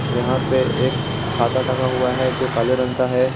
यहां पे एक छाता टंगा हुआ है जो काले रंग का है।